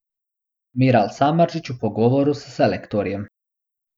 Miral Samardžić v pogovoru s selektorjem.